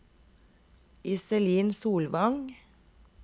Iselin Solvang